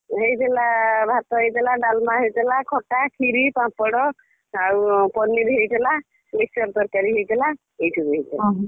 ହେଇଥିଲା ଭାତ ହେଇଥିଲା, ଡାଲମା ହେଇଥିଲା, ଖଟା, କ୍ଷୀରି, ପାମ୍ପଡ ଆଉ paneer ହେଇଥିଲା mix ର ତରକାରୀ ହେଇଥିଲା ଏହି ସବୁ ହେଇଥିଲା